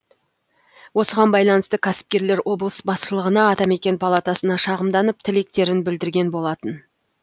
осыған байланысты кәсіпкерлер облыс басшылығына атамекен палатасына шағымданып тілектерін білдірген болатын